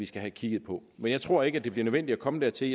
skal have kigget på men jeg tror ikke det bliver nødvendigt at komme dertil